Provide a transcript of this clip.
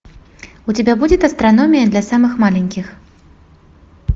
у тебя будет астрономия для самых маленьких